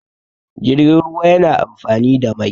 jirgin ruwa yana amfani i da Mai